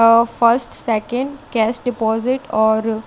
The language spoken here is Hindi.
और फस्ट सेकंड केस्ट डिपोसिट और--